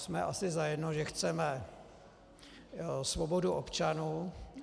Jsme asi zajedno, že chceme svobodu občanů.